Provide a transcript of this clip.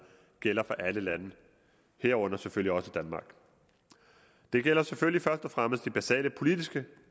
gælder for alle lande herunder selvfølgelig også danmark det gælder selvfølgelig først og fremmest de basale politiske